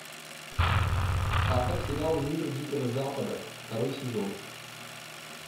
поставь сериал мир дикого запада второй сезон